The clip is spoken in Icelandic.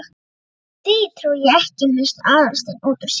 Því trúi ég ekki- missti Aðalsteinn út úr sér.